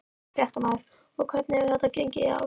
Fréttamaður: Og hvernig hefur þetta gengið í ár?